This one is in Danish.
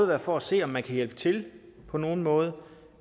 være for at se om man kan hjælpe til på nogen måde